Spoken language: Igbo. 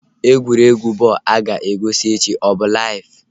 Egwuregwu bọl a ga-egosi echi ọ bụ laiv?